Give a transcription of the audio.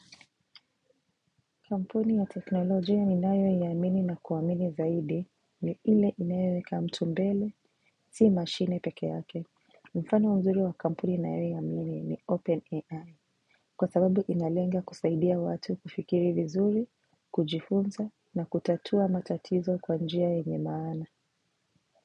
Kampuni ya teknolojia ninayoiamini na kuamini zaidi ni ile inayoweka mtu mbele, si mashine peke yake. Mfano mzuri wa kampuni ninayoiamini ni Open AI, kwa sababu inalenga kusaidia watu kufikiri vizuri, kujifunza na kutatua matatizo kwa njia yenye maana.